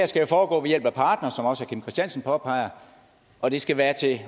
skal foregå ved hjælpe partnere som også herre kim christiansen påpeger og det skal være